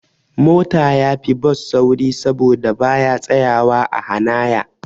Mota yafi Bus sauri saboda baya tsayawa a hanaya